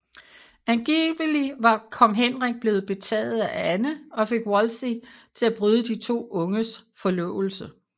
Angivelig var kong Henrik blevet betaget af Anne og fik Wolsey til at bryde de to unges forlovelse